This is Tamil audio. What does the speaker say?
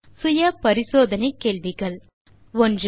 சில சுய பரிசோதனை கேள்விகள் 1